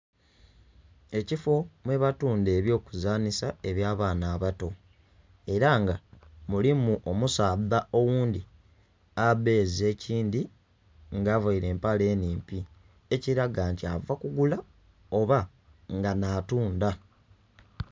Ekifo mwebatundha ebyokuzansa eby'abaana abato era nga mulimu omusaadha oghundhi abeeze ekindhi nga avaire empale enhimpi ekiraga nti ava kugula oba nga nhatunda.